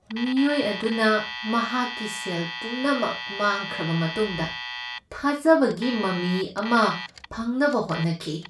ꯃꯤꯑꯣꯏ ꯑꯗꯨꯅ ꯃꯍꯥꯛꯀꯤ ꯁꯦꯜ ꯄꯨꯝꯅꯃꯛ ꯃꯥꯡꯈ꯭ꯔꯕ ꯃꯇꯨꯡꯗ ꯊꯥꯖꯕꯒꯤ ꯃꯃꯤ ꯑꯃ ꯐꯪꯅꯕ ꯍꯣꯠꯅꯈꯤ ꯫